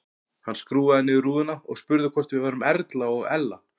Hann skrúfaði niður rúðuna og spurði hvort við værum Erla og Ella.